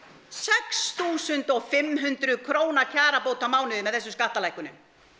sex þúsund og fimm hundruð króna kjarabót á mánuði með þessum skattalækkunum